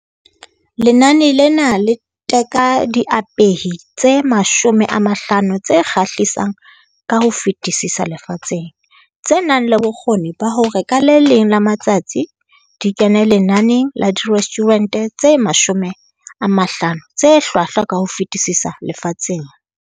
Lenane lena le teka diapehi tse 50 tse kgahlisang ka ho fetisisa lefatsheng, tse nang le bokgoni ba hore ka le leng la matsatsi di kene lenaneng la direstjhurente tse 50 tse Hlwahlwa ka ho fetisisa Lefatsheng.